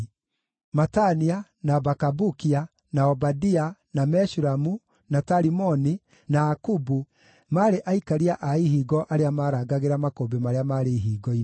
Matania, na Bakabukia, na Obadia, na Meshulamu, na Talimoni, na Akubu maarĩ aikaria a ihingo arĩa maarangagĩra makũmbĩ marĩa maarĩ ihingo-inĩ.